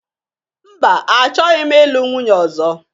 Mba, achọghị m ịlụ nwunye ọzọ.